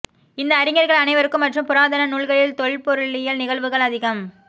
இந்த அறிஞர்கள் அனைவருக்கும் மற்றும் புராதன நூல்களில் தொல்பொருளியல் நிகழ்வுகள் அதிகம்